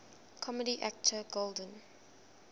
comedy actor golden